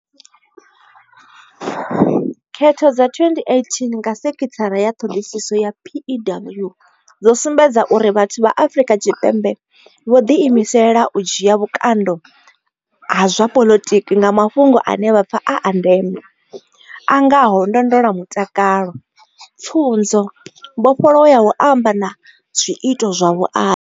Khetho dza 2018 nga vha senthara ya ṱhoḓisiso ya PEW dzo sumbedza uri vhathu vha Afrika Tshipembe vho ḓiimisela u dzhia vhukando ha zwa poḽotiki nga mafhungo ane vha pfa a a ndeme, a ngaho ndondolamutakalo, pfunzo, mbofholowo ya u amba na zwiito zwa vhuaḓa.